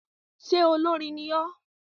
Ṣe olórin ní ọ?